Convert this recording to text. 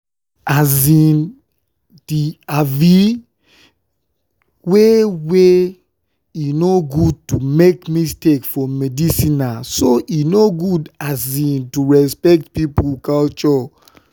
um the um way wey e no good to make mistake for medicinena so e good to respect pipo culture.